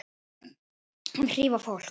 Að hrífa fólk.